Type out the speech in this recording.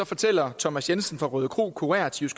fortæller thomas jensen fra rødekro kurér til